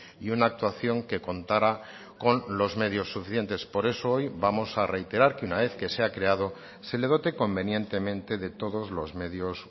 y una actuación que contara con los medios suficientes por eso hoy vamos a reiterar que una vez que se ha creado se le dote convenientemente de todos los medios